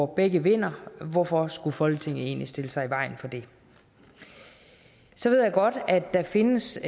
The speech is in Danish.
begge vinder hvorfor skulle folketinget egentlig stille sig i vejen for det så ved jeg godt at der findes